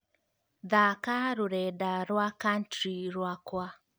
thaaka rũrenda rwa country rwakwa